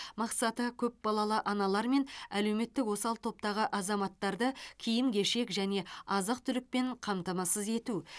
мақсаты көпбалалы аналар мен әлеуметтік осал топтағы азаматтарды киім кешек және азық түлікпен қамтамасыз ету